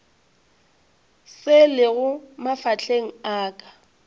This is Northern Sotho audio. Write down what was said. se lego mafahleng a ka